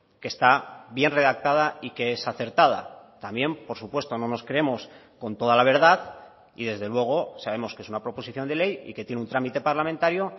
que está bien redactada y que es acertada también por supuesto no nos creemos con toda la verdad y desde luego sabemos que es una proposición de ley y que tiene un trámite parlamentario